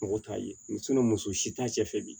Mɔgɔ t'a ye muso si t'a cɛ fɛ bi